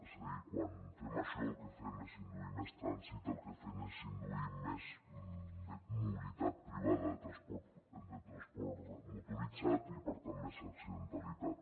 és a dir quan fem això el que fem és induir més trànsit el que fem és induir més mobilitat privada de transport motoritzat i per tant més accidentalitat